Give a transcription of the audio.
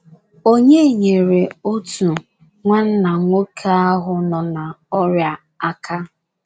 Onye nyeere otu nwanna nwoke ahụ nọ n'ọrịa aka?